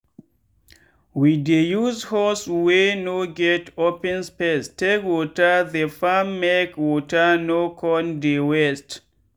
we dey use hose wey no get open space take water the farmmake water no con dey waste.